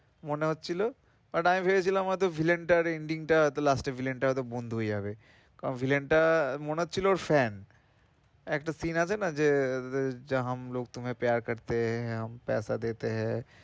মনে হচ্ছিল but আমি ভেবেছিলাম হয় তো villain টার ending টা হয়তো last এ villain টা বন্ধু হয়েযাবে কারণ villain টা মনেহচ্ছিল ওর fan একটা scene আছে না যে এর আহ যে